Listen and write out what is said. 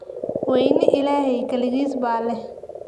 Weynii Illahey kaligiis ba leh.